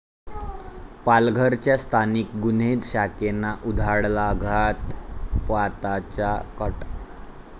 पालघरच्या स्थानिक गुन्हे शाखेनं उधळला घातपाताचा कट?